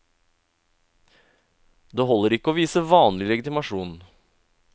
Det holder ikke å vise vanlig legitimasjon.